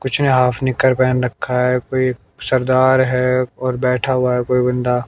कुछ ने हाफ निक्कर पहन रखा है कोई सरदार है और बैठा हुआ है कोई बंदा--